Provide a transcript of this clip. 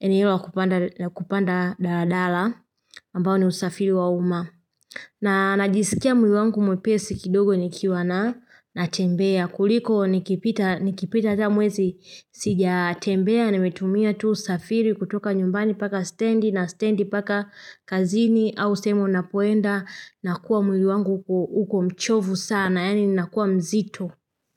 eneo la kupanda daladala ambao ni usafiri wa umma. Na najisikia mwili wangu mwepesi kidogo nikiwa na natembea kuliko nikipita nikipita ta mwezi sijatembea nimetumia tu usafiri kutoka nyumbani paka stendi na stendi paka kazini au sehemu ninapoenda nakuwa mwili wangu uko mchovu sana yani nakuwa mzito.